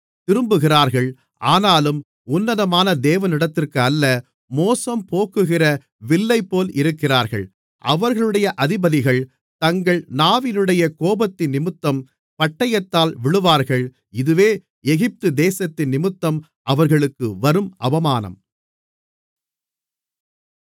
திரும்புகிறார்கள் ஆனாலும் உன்னதமான தேவனிடத்திற்கு அல்ல மோசம்போக்குகிற வில்லைப்போல் இருக்கிறார்கள் அவர்களுடைய அதிபதிகள் தங்கள் நாவினுடைய கோபத்தினிமித்தம் பட்டயத்தால் விழுவார்கள் இதுவே எகிப்து தேசத்தினிமித்தம் அவர்களுக்கு வரும் அவமானம்